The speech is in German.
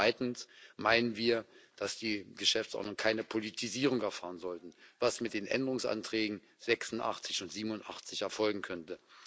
Zweitens meinen wir, dass die Geschäftsordnung keine Politisierung erfahren sollte, was mit den Änderungsanträgen 86 und 87 erfolgen könnte.